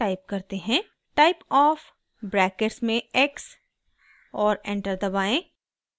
> typeof brackets में x और enter दबाएं